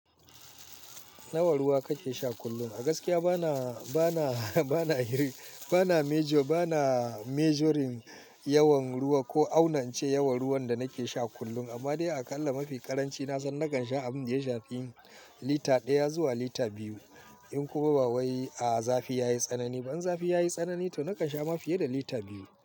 Nawa ruwa kake sha kullum? A gaskiya bana, bana, bana, bana, bana measuring yawan ruwa ko aunance yawan ruwan da nake sha kullum. Amma dai aƙalla mafi ƙaranci na san nakan sha a mintiya sha fiye da lita ɗaya zuwa lita biyu. In kuma ba wai a zafi yayi tsanani. Toh in zafi yayi tsanani to nakan sha mafiye da lita biyu.